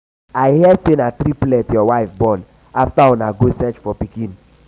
i hear say na triplet your wife born after una do go search for pikin.